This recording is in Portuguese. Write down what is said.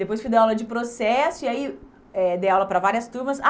Depois, fui dar aula de processo e aí, eh dei aula para várias turmas.